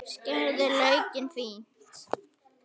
Skerið laukinn fínt.